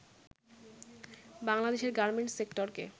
বাংলাদেশের গার্মেন্টস সেক্টরকে